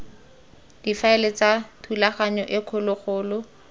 difaele tsa thulaganyo e kgologolo